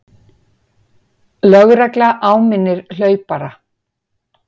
Lögregla áminnir hlaupara